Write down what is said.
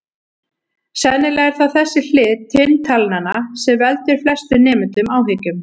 Sennilega er það þessi hlið tvinntalnanna sem veldur flestum nemendum áhyggjum.